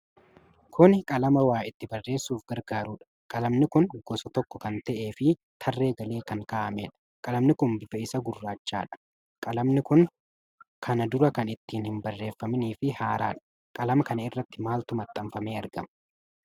Kuni qalama waa itti barreessuuf gargaarudha. Qalamni kun gosa tokko kan ta'ee fi tarree galee kan kaa'amedha. Qalami kun bifa isaa gurraachadha. Qalami kun kana dura kan itti hin barreefaminii fi haaraadha. Qalama kana irratti maaltu maxxanfamee argama?